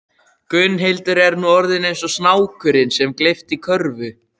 Gunnhildur er nú orðin eins og snákurinn sem gleypti körfu